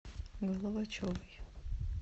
головачевой